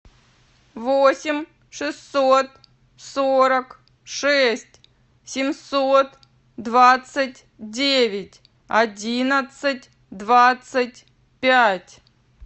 восемь шестьсот сорок шесть семьсот двадцать девять одиннадцать двадцать пять